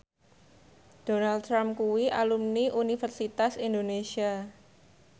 Donald Trump kuwi alumni Universitas Indonesia